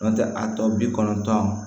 N'o tɛ a tɔ bi kɔnɔntɔn